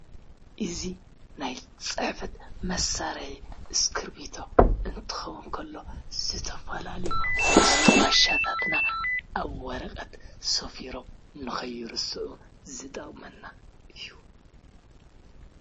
እዚ ናይ ፅሕፈት መሳሪሒ እስክርቢቶ እንትከውን ከሎ ዝተፈላለዩ መስታዋሻታት ኣብ ወረቀት ሰፊሮም ንከይርስዑ ዝጠቅመና እዩ።